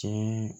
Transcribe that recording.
Tiɲɛ